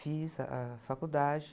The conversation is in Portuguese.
Fiz a, a faculdade.